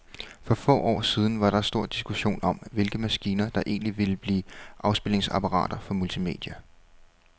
For få år siden var der stor diskussion om, hvilke maskiner, der egentlig ville blive afspilningsapparater for multimedia.